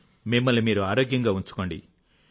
మిమ్మల్ని మీరు ఆరోగ్యంగా ఉంచుకోండి